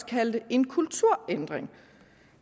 kaldte en kulturændring